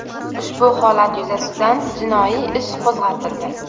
Ushbu holat yuzasidan jinoiy ish qo‘zg‘atildi.